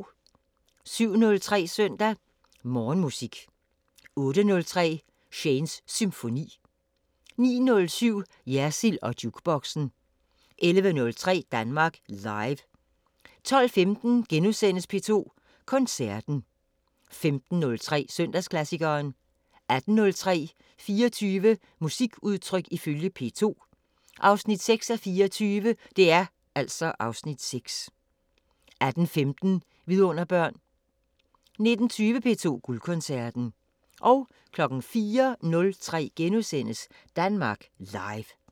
07:03: Søndag Morgenmusik 08:03: Shanes Symfoni 09:07: Jersild & Jukeboxen 11:03: Danmark Live 12:15: P2 Koncerten * 15:03: Søndagsklassikeren 18:03: 24 musikudtryk ifølge P2 – 6:24 (Afs. 6) 18:15: Vidunderbørn 19:20: P2 Guldkoncerten 04:03: Danmark Live *